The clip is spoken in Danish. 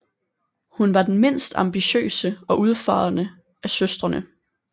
Hun var den mindst ambitiøse og udfarende af søstrene